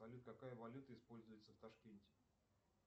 салют какая валюта используется в ташкенте